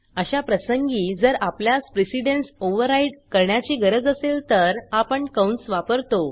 अशा प्रसंगी जर आपल्यास प्रेसेडेन्स ओवर्राइड करण्याची गरज असेल तर आपण कंस वापरतो